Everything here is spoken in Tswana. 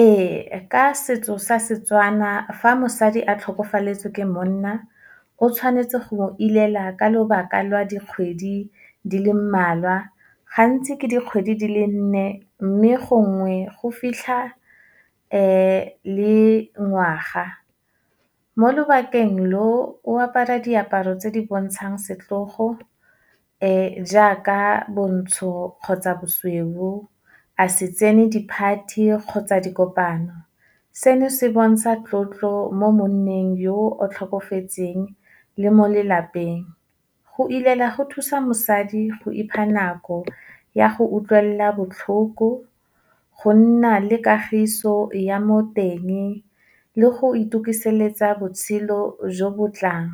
Ee, ka setso sa Setswana, fa mosadi a tlhokafaletswe ke monna, o tshwanetse go mo ilela ka lobaka lwa dikgwedi di le mmalwa, gantsi ke dikgwedi di le nne mme gongwe go fitlha le ngwaga. Mo lobakeng lo, o apara diaparo tse di bontshang setlhogo jaaka bontsho kgotsa bosweu, a se tsene di-party kgotsa dikopano. Seno, se bontsha tlotlo mo monneng yo o tlhokofetseng, le mo lelapeng. Go ilela go thusa mosadi go ipha nako ya go utlwelela botlhoko, go nna le kagiso ya mo teng, le go itukiseletsa botshelo jo bo tlang.